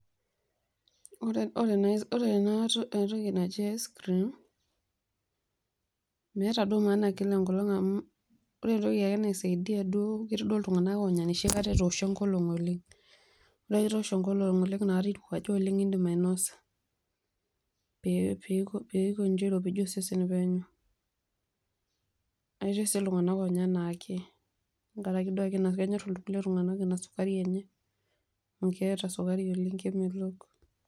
Oore ena toki naji ice cream meeta duo maana kila enkolong amuu ore entoki naisaidia duo naa ketii ake iltung'anak oonya enoshi kata etooshuo enkolong oleng. Ore ake peyie ewoshu enkolong oleng naikata eirowuaja oleng naa iidim ainosa peyie eikoji airopijie osesen penyo. Etii sii iltung'anak oonya enaake tentiaraki duo aake naa kenyor iltung'anak ina sukari eenye amuu keeta sukari oleng' kemelok